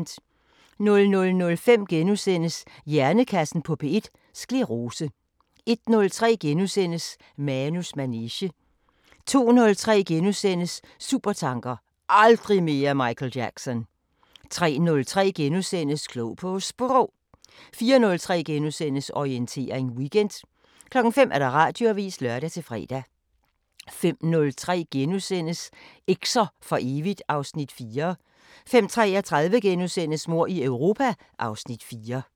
00:05: Hjernekassen på P1: Sclerose * 01:03: Manus manege * 02:03: Supertanker: Aldrig mere Michael Jackson * 03:03: Klog på Sprog * 04:03: Orientering Weekend * 05:00: Radioavisen (lør-fre) 05:03: Eks'er for evigt (Afs. 4)* 05:33: Mord i Europa (Afs. 4)*